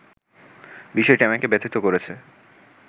বিষয়টি আমাকে ব্যথিত করেছে